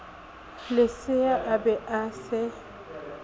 lesea a be a se